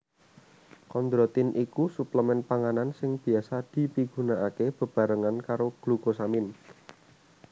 Kondrotin iku suplemen panganan sing biasa dipigunakaké bebarengan karo glukosamin